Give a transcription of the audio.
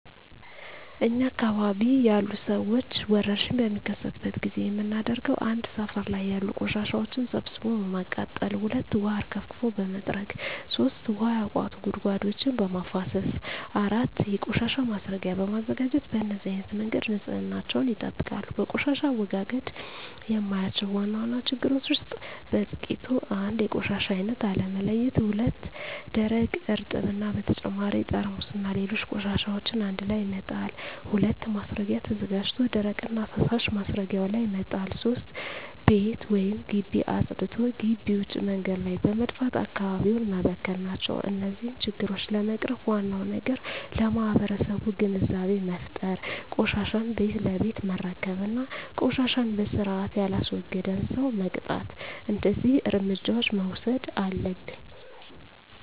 እኛ አካባቢ ያሉ ሠዎች ወርሽኝ በሚከሰትበት ጊዜ የምናደርገው 1. ሠፈር ላይ ያሉ ቆሻሻዎችን ሠብስቦ በማቃጠል 2. ውሀ አርከፍክፎ በመጥረግ 3. ውሀ ያቋቱ ጉድጓዶችን በማፋሠስ 4. የቆሻሻ ማስረጊያ በማዘጋጀት በነዚህ አይነት መንገድ ንፅህናቸውን ይጠብቃሉ። በቆሻሻ አወጋገድ የማያቸው ዋና ዋና ችግሮች ውስጥ በጥቂቱ 1. የቆሻሻ አይነት አለመለየት ለምሣሌ፦ ደረቅ፣ እርጥብ እና በተጨማሪ ጠርሙስና ሌሎች ቆሻሻዎችን አንድላይ መጣል። 2. ማስረጊያ ተዘጋጅቶ ደረቅና ፈሣሽ ማስረጊያው ላይ መጣል። 3. ቤት ወይም ግቢ አፅድቶ ግቢ ውጭ መንገድ ላይ በመድፋት አካባቢውን መበከል ናቸው። እነዚህን ችግሮች ለመቅረፍ ዋናው ነገር ለማህበረሠቡ ግንዛቤ መፍጠር፤ ቆሻሻን ቤት ለቤት መረከብ እና ቆሻሻን በስርአት የላስወገደን ሠው መቅጣት። እደዚህ እርምጃዎች መውሠድ አለብን።